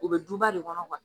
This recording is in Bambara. U bɛ duba de kɔnɔ[cs